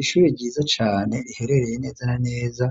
Ishuri ryiza cane riherereye neza na neza